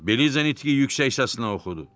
Beliza nitqi yüksək səslə oxudu.